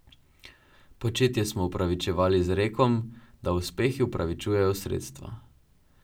Početje smo upravičevali z rekom, da uspehi upravičujejo sredstva.